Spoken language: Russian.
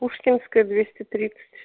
пушкинская двести тридцать